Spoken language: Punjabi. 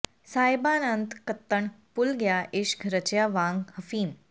ਸਾਹਿਬਾਨ ਅਤੰ ਕੱਤਣ ਭੁੱਲ ਗਿਆ ਇਸ਼ਕ ਰਚਿਆ ਵਾਂਗ ਹਫ਼ੀਮ